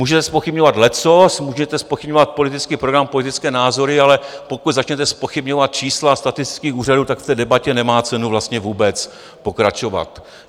Můžete zpochybňovat leccos, můžete zpochybňovat politický program, politické názory, ale pokud začnete zpochybňovat čísla statistických úřadů, tak v té debatě nemá cenu vlastně vůbec pokračovat.